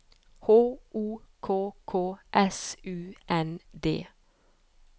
H O K K S U N D